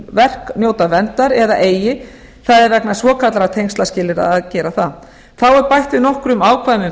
verk njóta verndar eða eigi það er vegna svokallaðra tengslaskilyrða að gera það þá er bætt við nokkrum ákvæðum um